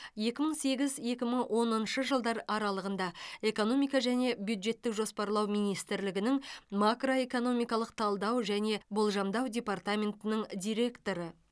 екі мың сегіз екі мың оныншы жылдар аралығында экономика және бюджеттік жоспарлау министрлігінің макроэкономикалық талдау және болжамдау департаментінің директоры